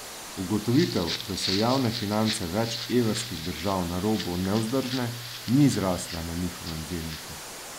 Ugotovitev, da so javne finance več evrskih držav na robu nevzdržne, ni zrasla na njihovem zelniku.